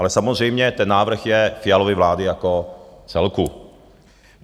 Ale samozřejmě ten návrh je Fialovy vlády jako celku.